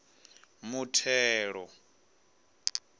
muthelo